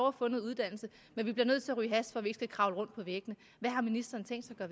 at få noget uddannelse men vi bliver nødt til at ryge hash for at vi ikke skal kravle rundt på væggene hvad har ministeren tænkt sig at